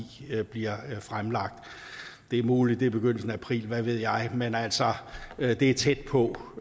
bliver fremlagt det er muligt i begyndelsen af april hvad ved jeg men altså det er tæt på